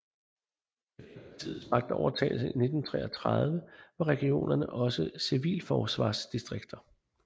Efter partiets magtovertagelse i 1933 var regionerne også civilforsvarsdistrikter